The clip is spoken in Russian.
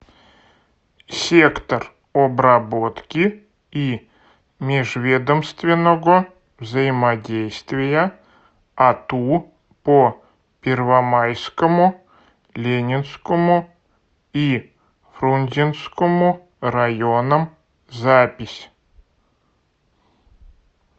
сектор обработки и межведомственного взаимодействия ату по первомайскому ленинскому и фрунзенскому районам запись